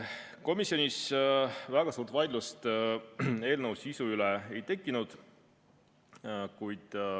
Komisjonis väga suurt vaidlust eelnõu sisu üle ei tekkinud.